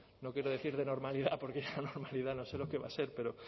no quiero decir de normalidad porque ya normalidad no sé lo que va a ser pero